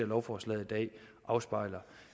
lovforslaget i dag afspejler